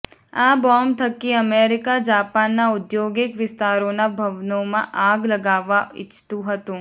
આ બોમ્બ થકી અમેરિકા જાપાનના ઉદ્યોગિક વિસ્તારોના ભવનોમાં આગ લગાવવા ઇચ્છતું હતુ